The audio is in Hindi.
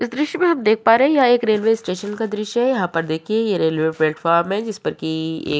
ये दृश्य हम देख पा रहे हैं यह एक रेलवे स्टेशन का दृश्य है यहाँ पर देखिये ये स्टेशन है जिसपर की एक --